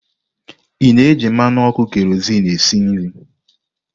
Ị na-eji mmanụ ọkụ keroziinu esi nri?